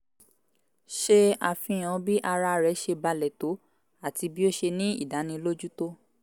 ṣe àfihàn bí ara rẹ̀ ṣe balẹ̀ tó àti bí ó ṣe ní ìdánilójú tó